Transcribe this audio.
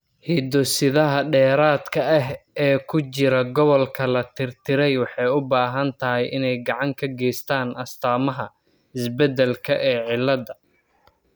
Hiddo-sidaha dheeraadka ah ee ku jira gobolka la tirtiray waxay u badan tahay inay gacan ka geystaan ​​astaamaha isbeddelka ee cilladda.